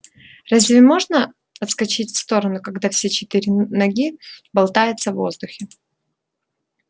разве можно отскочить в сторону когда все четыре ноги болтаются в воздухе